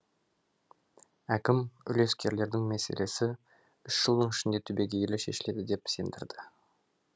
әкім үлескерлердің мәселесі үш жылдың ішінде түбегейлі шешіледі деп сендірді